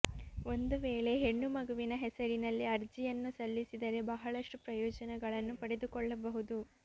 ಒಂದು ವೇಳೆ ಹೆಣ್ಣು ಮಗುವಿನ ಹೆಸರಿನಲ್ಲಿ ಅರ್ಜಿಯನ್ನು ಸಲ್ಲಿಸಿದರೆ ಬಹಳಷ್ಟು ಪ್ರಯೋಜನಗಳನ್ನು ಪಡೆದುಕೊಳ್ಳಬಹುದು